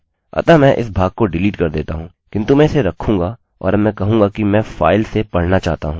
अतः मैं इस भाग को डिलीट कर देता हूँ किन्तु मैं इसे रखूँगा और अब मैं कहूँगा कि मैं फाइल से पढ़ना चाहता हूँ